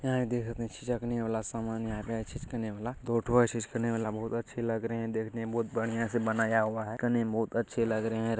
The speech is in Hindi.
बहुत अच्छे लग रहे है देखने में बहुत बढ़िया से बनाया हुआ है देखने में बहुत अच्छे लग रहे है।